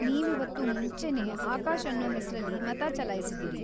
ನೀವಿವತ್ತು ಮುಂಚೆನೇ ಆಕಾಶ್ ಅನ್ನೋ ಹೆಸ್ರಲ್ಲಿ ಮತ ಚಲಾಯ್ಸಿದೀರಿ.